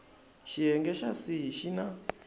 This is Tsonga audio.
xiyenge xa c xi na